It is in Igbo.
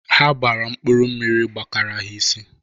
Ha gbara mkpụrụ mmiri gbakara ha isi.